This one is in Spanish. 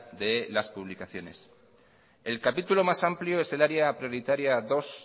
de las publicaciones el capítulo más amplio es el área prioritaria dos